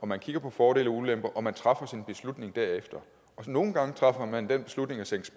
man kigger på fordele og ulemper og man træffer sin beslutning derefter nogle gange træffer man den beslutning at sænke